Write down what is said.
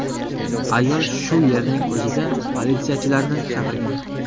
Ayol shu yerning o‘zida politsiyachilarni chaqirgan.